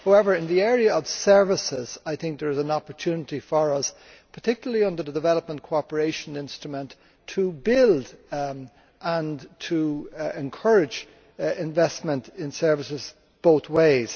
However, in the area of services, I think there is an opportunity for us, particularly under the Development Cooperation Instrument, to build and to encourage investment in services both ways.